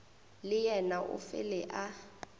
le yena o fele a